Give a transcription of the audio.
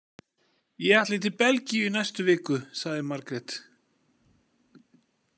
Ég ætla til Belgíu í næstu viku, sagði Margrét.